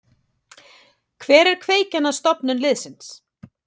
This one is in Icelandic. Hver er kveikjan að stofnun liðsins?